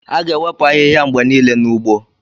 A ga-ewepụ ahịhịa mgbe niile n'ugbo.